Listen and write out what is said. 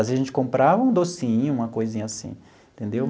Às vezes a gente comprava um docinho, uma coisinha assim, entendeu?